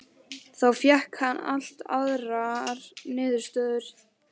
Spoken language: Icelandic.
Þá fékk hann allt aðrar niðurstöður.